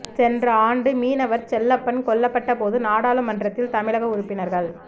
சென்ற ஆண்டு மீனவர் செல்லப்பன் கொல்லப்பட்ட போது நாடாளுமன்றத்தில் தமிழக உறுப்பினர்கள்